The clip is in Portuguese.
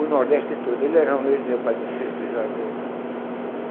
O Nordeste todo, ele era romeiro do meu Padre Ciço do Juazeiro.